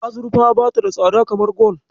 Azurfa bata da tsada kamar gwal.